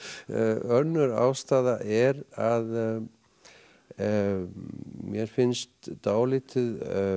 önnur ástæða er að mér finnst dálítið